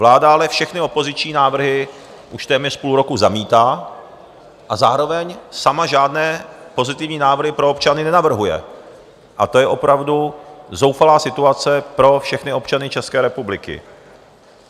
Vláda ale všechny opoziční návrhy už téměř půl roku zamítá a zároveň sama žádné pozitivní návrhy pro občany nenavrhuje, a to je opravdu zoufalá situace pro všechny občany České republiky.